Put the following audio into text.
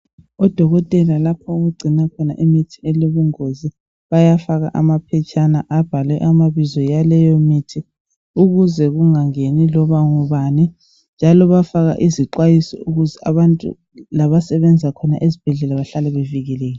Odokotela lapho okugcinwa khona imithi elobungozi bayafaka amaphetshana abhalwe amabizo aleyo mithi ukuze kungangeni loba ngubani njalo bayafaka izixwayiso ukuze abantu abasebenza khona ezibhedlela bahlale bevikelekile.